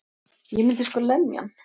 Ég myndi sko lemja hann.